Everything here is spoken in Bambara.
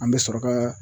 An bɛ sɔrɔ ka